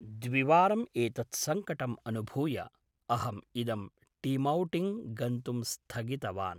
द्विवारम् एतत्सङ्कटम् अनुभूय अहम् इदं टीमौटिङ्ग् गन्तुं स्थगितवान्